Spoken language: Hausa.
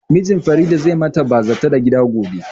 Mijin Farida zai ma ta bazata da gida gobe